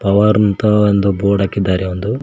Power ನ ಅಂತ board ಹಾಕಿದ್ದಾರೆ ಒಂದು.